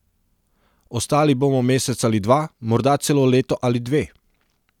Ostali bomo mesec ali dva, morda celo leto ali dve.